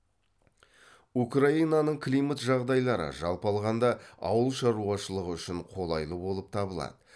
украинаның климат жағдайлары жалпы алғанда ауыл шаруашылығы үшін қолайлы болып табылады